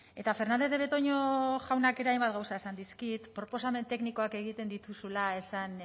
eta fernandez de betoño jaunak hainbat gauza esan dizkit proposamen teknikoak egiten dituzula esan